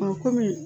kɔmi